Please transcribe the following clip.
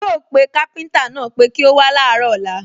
Yóò pé káfíńtà náà pé kí ó wá láàárọ̀ ọ̀lla